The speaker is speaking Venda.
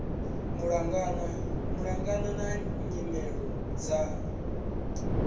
malugana na nyimele dza dzipmb